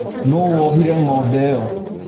Nũũ wohire ng'ombe ĩyo?